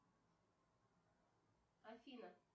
афина